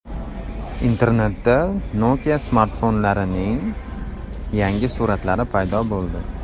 Internetda Nokia smartfonlarining yangi suratlari paydo bo‘ldi .